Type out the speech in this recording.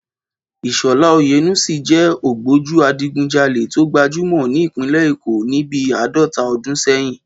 Ìshọ̀lá Oyènúsì jẹ́ ògbójú adigunjalè tó gbajúmọ̀ ní Ìpínlẹ̀ Èkó ní bí àádọ́ta ọdún sẹ́yìn